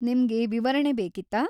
ನಿಮ್ಗೆ ವಿವರಣೆ ಬೇಕಿತ್ತಾ?